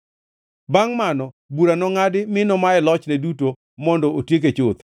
“ ‘Bangʼ mano bura nongʼadi, mi nomaye lochne duto mondo otieke chuth.